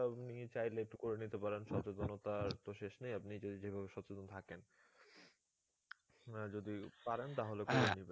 তো নিয়ে চাইলে একটু করে নিতে পারেন সচেতনতার তো শেষ নেই আপনি যদি যেভাবে সচেতন থাকেন না যদি পারেন তাহলে করে নিবেন